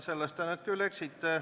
Selles te nüüd küll eksite.